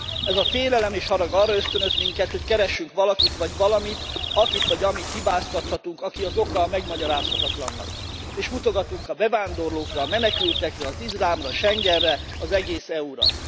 Ez a félelem és harag arra ösztönöz minket, hogy keressünk valakit vagy valamit, akit vagy amit hibáztathatunk, aki az oka a megmagyarázhatatlannak. És mutogatunk a bevándorlókra, a menekültekre, az iszlámra, Schengenre, az egész EU ra.